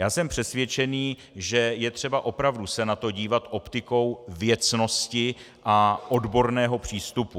Já jsem přesvědčený, že je třeba opravdu se na to dívat optikou věcnosti a odborného přístupu.